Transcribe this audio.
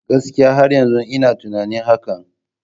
Gaskiya! Har yanzu ina tunanin hakan.